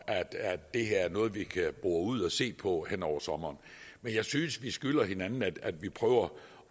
at det her er noget vi kan bore ud og se på hen over sommeren men jeg synes vi skylder hinanden at vi prøver